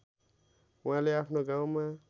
उहाँले आफ्नो गाउँमा